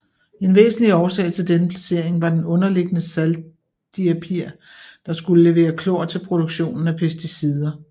En væsentlig årsag til denne placering var den underliggende saltdiapir der skulle levere klor til produktionen af pesticider